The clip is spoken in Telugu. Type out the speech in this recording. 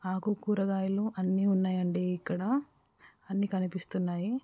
ఆకు కూరగాయలు అన్ని ఉన్నాయండి ఇక్కడ. అన్ని కనిపిస్తున్నాయి.